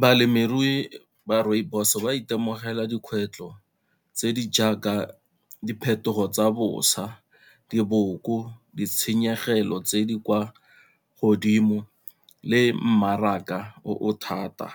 Balemirui ba rooibos ba itemogela dikgwetlho tse di jaaka diphetogo tsa bosa, diboko, ditshenyegelo tse di kwa godimo le mmaraka o thata.